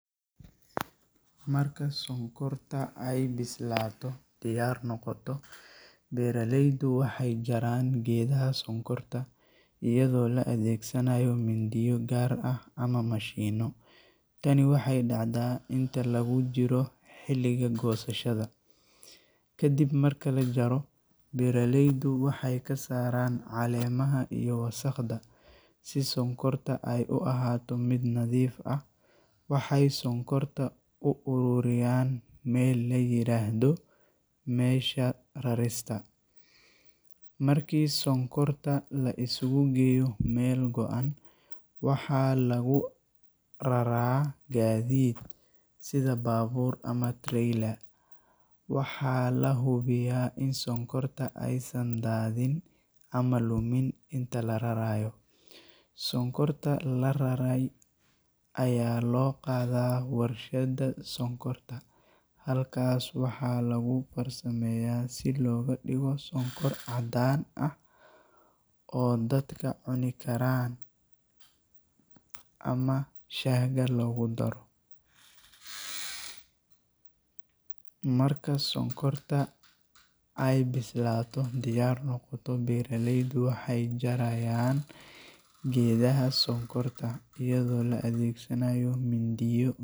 Marka sonkorta ay bislaato (diyaar noqoto), beeraleydu waxay jarayaan geedaha sonkorta iyadoo la adeegsanayo mindiyo gaar ah ama mashiinno. Tani waxay dhacdaa inta lagu jiro xilliga goosashada. Kadib marka la jaro, beeraleydu waxay ka saaraan caleemaha iyo wasakhda, si sonkorta ay u ahaato mid nadiif ah. Waxay sonkorta u ururiyaan meel la yiraahdo meesha rarista. Markii sonkorta la isugu geeyo meel go’an, waxaa lagu raraa gaadiid (sida baabuur ama trailer). Waxaa la hubiyaa in sonkorta aysan daadin ama lumin inta la rarayo. Sonkorta la rarray ayaa loo qaadaa warshadda sonkorta. Halkaas waxaa lagu farsameeyaa si looga dhigo sonkor caddaan ah oo dadka cuni karaan ama shaahga loogu daro. Marka sonkorta ay bislaato (diyaar noqoto), beeraleydu waxay jarayaan geedaha sonkorta iyadoo la adeegsanayo mindiyo.